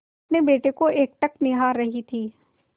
अपने बेटे को एकटक निहार रही थी